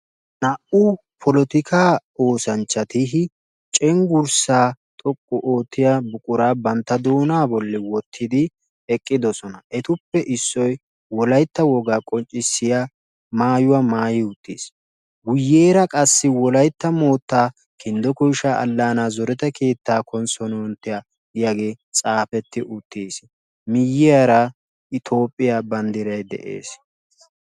naa"u polotikka oosanchati cengurssa xoqqu otiya mishsha oyqidi eqqiossona etuppe issoy wolaytta wogaa maayuwa maayissi guyessarakka toophiyaa bandiraykka deessi.